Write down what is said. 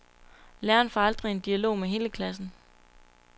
Læreren får aldrig en dialog med hele klassen.